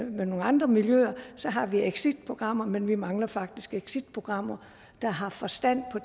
nogle andre miljøer har vi jo exitprogrammer men vi mangler faktisk exitprogrammer der har forstand på